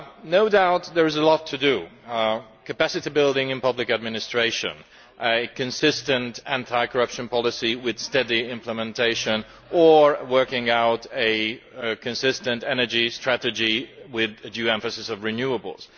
No doubt there is a lot to do capacity building in public administration, a consistent anti corruption policy with steady implementation, and working out a consistent energy strategy with due emphasis on renewables.